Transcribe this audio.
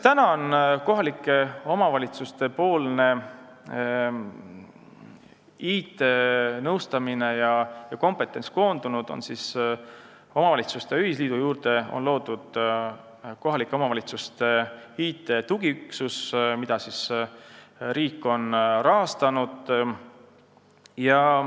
Kohalike omavalitsuste IT-nõustamine ja kompetentsus on koondunud nii, et omavalitsuste ühisliidu juurde on loodud kohalike omavalitsuste IT-tugiüksus, mida riik on rahastanud.